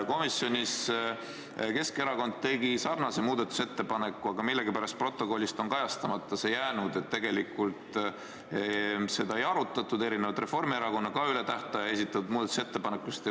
Komisjonis Keskerakond tegi sarnase muudatusettepaneku, aga millegipärast on protokollis see kajastamata jäänud, et tegelikult seda ei arutatud, erinevalt Reformierakonna ka üle tähtaja esitatud muudatusettepanekust.